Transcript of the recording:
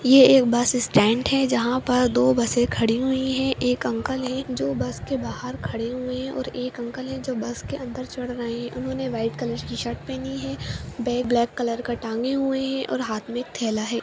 ये एक bus stand है जहाँ पर दो बसे खड़ी हुई है एक अंकल है जो बस के बाहर खड़े हुए है और एक अंकल है जो बस के अंदर चढ़ रहे है उन्होंने व्हाइट कलर की शर्ट पहनी है बैग ब्लैक कलर का टंगे हुए है और हाथ में एक थैला है।